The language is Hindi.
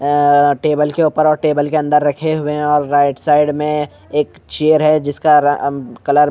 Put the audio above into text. ए टेबल के ऊपर और टेबल के अंदर रखे हुए और राइट साइड में एक चेयर है जिसका र अ कलर --